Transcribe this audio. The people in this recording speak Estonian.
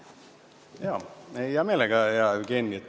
Hea meelega, hea Jevgeni!